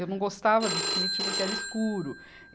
Eu não gostava do sítio porque era escuro.